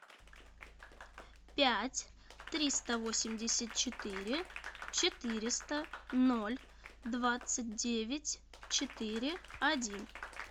пять триста восемьдесят четыре четыреста ноль двадцать девять четыре один